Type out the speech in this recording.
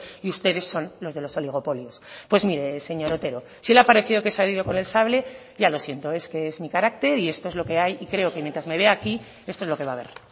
y ustedes son los de los oligopolios pues mire señor otero si le ha parecido que he salido con el sable ya lo siento es que es mi carácter y esto es lo que hay y creo que mientras me vea aquí esto es lo que va a haber